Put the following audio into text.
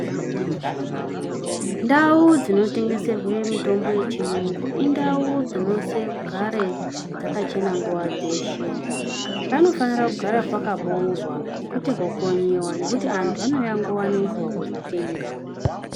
Ndau dzinotengeserwe mutombo yechiyungu indau dzinosise kugare dzakachena nguwa dzeshe panofanire kugara pakaboorwa kwete kukonyiwa ngekuti anhu anouya nguwa nenguwa kotenga.